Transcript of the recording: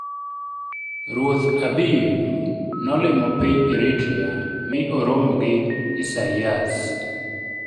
"[Ruoth Abiy] nolimo piny Eritrea mi oromo gi Isaias.